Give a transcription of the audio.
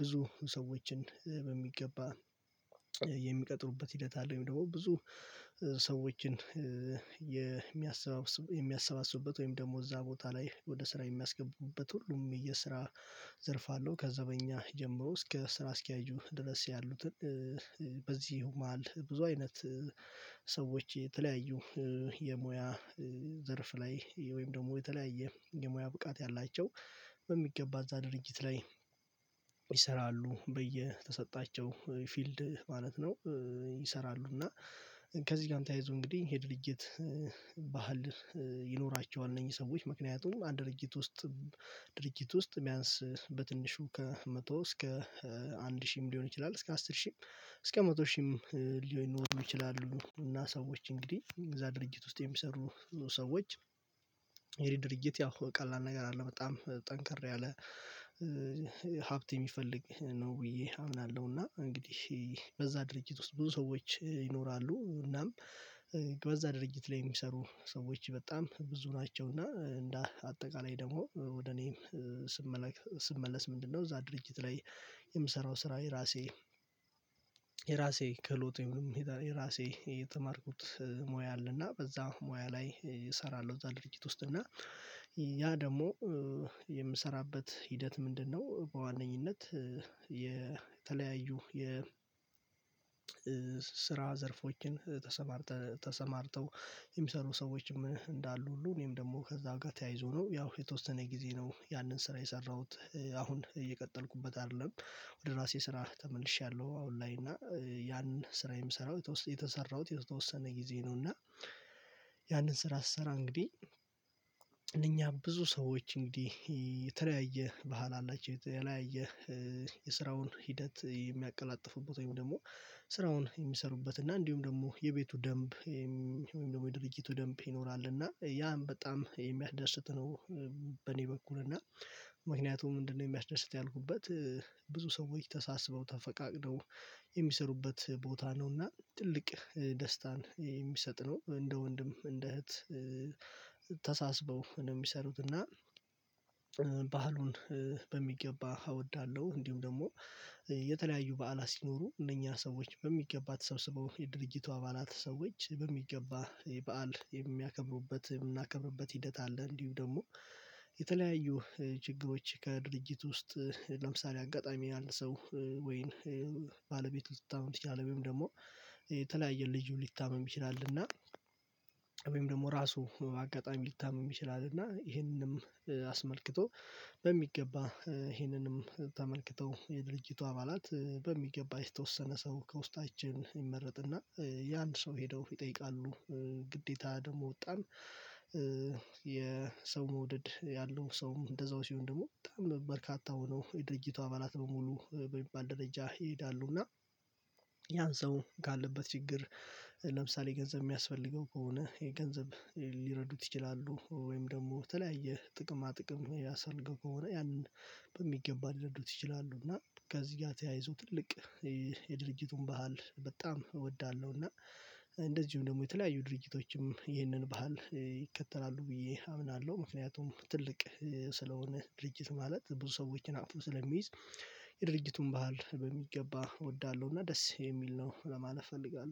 ብዙ ሰዎችን በሚገባ የሚቀጥሩበት ሂደት አለው ወይም ደግሞ ብዙ ሰዎችን የሚያሰባስብ የሚያሰባስቡበት ወይም ደግሞ እዛ ቦታ ላይ ወደ ስራ የሚያስገቡበት ሁሉም የስራ ዘርፍ አለው ከዛ በእኛ ጀምሮ እስከ ስራ አስኪያጁ ድረስ ያሉትን በዚህ መሃል ብዙ አይነት ሰዎች የተለያዩ የሙያ ዘርፍ ላይ ወይም ደግሞ የተለያየ የሙያ ብቃት ያላቸው በሚገባ እዛ ድርጅት ላይ ይሰራሉ በየተሰጣቸው ፊልድ ማለት ነው ይሰራሉ እና ከዚህ ጋር እንተያይዙ እንግዲህ የድርጅት ባህል ይኖራቸዋል እነዚህ ሰዎች ምክንያቱም አንድ ድርጅት ውስጥ ድርጅት ውስጥ የሚያንስ በትንሹ ከመቶ እስከ አንድ ሺህም ሊሆን ይችላል እስከ አስር ሺህም እስከ መቶ ሺህም ሊሆን ይችላሉ እና ሰዎች እንግዲህ እዛ ድርጅት ውስጥ የሚሰሩ ሰዎች ይሄ ድርጅት ያው ቀላል ነገር አለ በጣም ጠንከር ያለ ሀብት የሚፈልግ ነው ብዬ አምናለሁ፣ እና እንግዲህ በዛ ድርጅት ውስጥ ብዙ ሰዎች ይኖራሉ እናም በዛ ድርጅት ላይ የሚሰሩ ሰዎች በጣም ብዙ ናቸው እና እንደ አጠቃላይ ደግሞ ወደ እኔም ስመለስ ስመለስ ምንድነው እዛ ድርጅት ላይ የምሰራው ስራ የራሴ የራሴ ክህሎት ወይም ደግሞ የራሴ የተማርኩት ሞያ አለና በዛ ሞያ ላይ እሰራለሁ እዛ ድርጅት ውስጥ እና ያ ደግሞ የምሰራበት ሂደት ምንድነው በዋነኝነት የተለያዩ የ የስራ ዘርፎችን ተሰማርተው የሚሰሩ ሰዎችም እንዳሉ ሁሉ እኔም ደግሞ ከዛ ጋር ተያይዞ ነው ያው የተወሰነ ጊዜ ነው ያንን ስራ የሰራሁት አሁን እየቀጠልኩበት አይደለም ወደ ራሴ ስራ ተመልሼያለሁ አሁን ላይ እና ያንን ስራ የምሰራው የሰራሁት የተወሰነ ጊዜ ነው እና ያንን ስራ ስሰራ እንግዲህ እኛ ብዙ ሰዎች እንግዲህ የተለያየ ባህል አላቸው የተለያየ የስራውን ሂደት የሚያቀላጥፉበት ወይም ደግሞ ስራውን የሚሰሩበት እና እንዲሁም ደግሞ የቤቱ ደንብ ወይም ደግሞ የድርጅቱ ደንብ ይኖራል እና ያም በጣም የሚያስደስት ነው። በእኔ በኩል እና ምክንያቱም ምንድነው የሚያስደስት ያልኩበት ብዙ ሰዎች ተሳስበው ተፈቃቅነው የሚሰሩበት ቦታ ነው እና ትልቅ ደስታን የሚሰጥ ነው እንደ ወንድም እንደ እህት ተሳስበው ነው የሚሰሩት እና ባህሉን በሚገባ እወዳለሁ እንዲሁም ደግሞ የተለያዩ በዓላት ሲኖሩ እነኛ ሰዎች በሚገባ ተሰብስበው የድርጅቱ አባላት ሰዎች በሚገባ የበአል የሚያከብሩበት የምናከብርበት ሂደት አለ እንዲሁም ደግሞ የተለያዩ ችግሮች ከድርጅት ውስጥ ለምሳሌ አጋጣሚ ያንድ ሰው ወይን ባለቤቱ ልትታመም ትችላለች ወይም ደግሞ የተለያየ ልዩ ሊታመም ይችላል እና ወይም ደግሞ ራሱ አጋጣሚ ሊታመም ይችላል እና ይሄንንም አስመልክቶ በሚገባ ይህንንም ተመልክተው የድርጅቱ አባላት በሚገባ የተወሰነ ሰው ከውስጣችን ይመረጥና የንን ሰው ሄደው ይጠይቃሉ ግዴታ ደግሞ በጣም የሰው መውደድ ያለው ሰውም እንደዛው ሲሆን ደግሞ በርካታ ሆኖ የድርጅቱ አባላት በሙሉ በሚባል ደረጃ ይሄዳሉ እና ያን ሰው ካለበት ችግር ለምሳሌ ገንዘብ የሚያስፈልገው ከሆነ የገንዘብ ሊረዱት ይችላሉ ወይም ደግሞ ተለያየ ጥቅማ ጥቅም የሚያስፈልገው ከሆነ ያንን በሚገባ ሊረዱት ይችላሉ እና ከዚህ ጋር ተያይዞ ትልቅ የድርጅቱ ባህል በጣም እወዳለሁ፣ እና እንደዚሁም ደግሞ የተለያዩ ድርጅቶችም ይህንን ባህል ይከተላሉ ብዬ አምናለሁ ምክንያቱም ትልቅ ስለሆነ ድርጅት ማለት ብዙ ሰዎችን አቅፎ ስለሚይዝ የድርጅቱን ባህል በሚገባ እወዳለሁ እና ደስ የሚል ነው ለማለት እፈልጋለሁ።